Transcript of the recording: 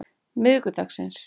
miðvikudagsins